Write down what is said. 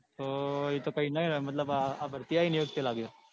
તો એ તો કઈ નો એ મતલબ આ ભરતી આવી એ વખતે લાગ્યો.